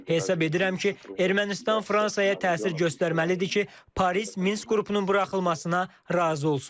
Hesab edirəm ki, Ermənistan Fransaya təsir göstərməlidir ki, Paris Minsk qrupunun buraxılmasına razı olsun.